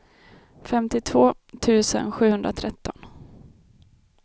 femtiotvå tusen sjuhundratretton